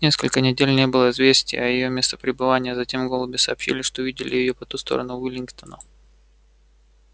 несколько недель не было известние о её местопребывании а затем голуби сообщили что видели её по ту сторону уиллингдона